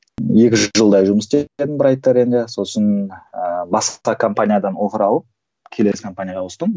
екі жылдай жұмыс істедім сосын ыыы басқа компаниядан келесі компанияға ауыстым